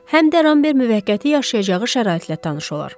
Həm də Ramber müvəqqəti yaşayacağı şəraitlə tanış olar.